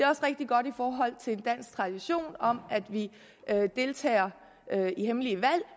er rigtig godt i forhold til en dansk tradition om at vi deltager i hemmelige valg